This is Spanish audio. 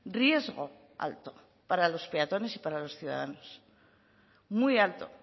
riesgo alto para los peatones y para los ciudadanos muy alto